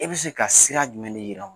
E bɛ se ka sira jumɛn de yiran